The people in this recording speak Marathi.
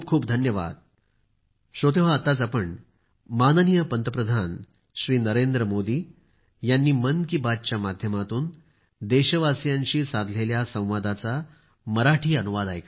खूप खूप धन्यवाद